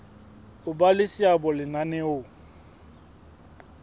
ho ba le seabo lenaneong